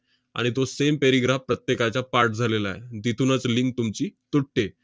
आणि तो same paragraph प्रत्येकाच्या पाठ झालेला आहे. तिथूनच link तुमची तुटते.